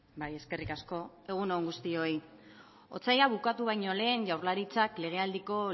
bai eskerrik asko egun on guztioi otsaila bukatu baino lehen jaurlaritzak legealdiko